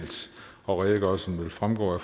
og redegørelsen vil fremgå af